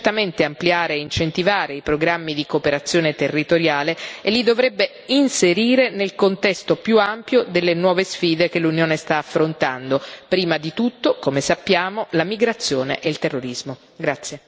Per questo la Commissione dovrebbe certamente ampliare e incentivare i programmi di cooperazione territoriale e li dovrebbe inserire nel contesto più ampio delle nuove sfide che l'Unione sta affrontando prima di tutto, come sappiamo, la migrazione e il terrorismo.